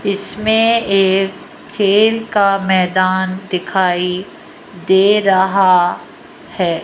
इसमें एक खेल का मैदान दिखाई दे रहा है।